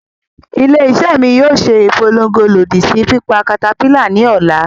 Ile-iṣẹ mi yoo ṣe ipolongo lodi si pipa caterpillar ni ọla.